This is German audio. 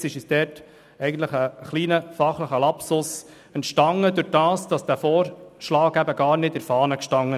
Es ist uns dabei, wie gesagt, ein kleiner fachlicher Lapsus geschehen, weil der Vorschlag der Regierung gar nicht in der Fahne stand.